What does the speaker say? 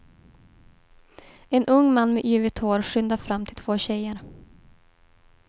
En ung man med yvigt hår skyndar fram till två tjejer.